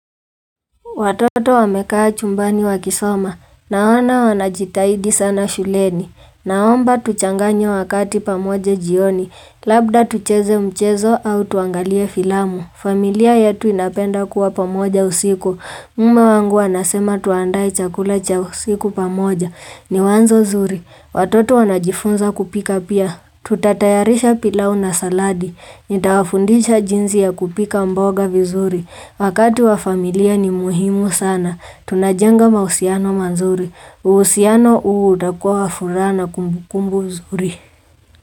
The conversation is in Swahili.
Watoto wamekaa chumbani wakisoma. Naona wanajitahidi sana shuleni. Naomba tuchanganye wakati pamoja jioni. Labda tucheze mchezo au tuangalie filamu. Familia yetu inapenda kuwa pamoja usiku. Mme wangu anasema tuandae chakula cha usiku pamoja. Ni wanzo zuri. Watoto wanajifunza kupika pia. Tutatayarisha pilau na saladi. Nita wafundisha jinzi ya kupika mboga vizuri. Wakati wa familia ni muhimu sana. Tunajanga mausiano manzuri. Uhusiano huu utakua wa furaa na kumbukumbu nzuri.